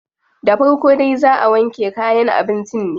Da farko dai zaa a wanke kayan abincin ne.